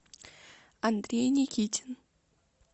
андрей никитин